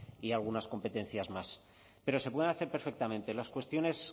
y algunas competencias más pero se puede hacer perfectamente las cuestiones